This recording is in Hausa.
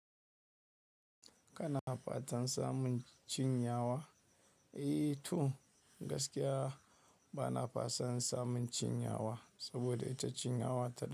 Kana fatan samun cin yawa? Eh to gaskiya bana fasan samun cin yawa, saboda ita cin yawa ta.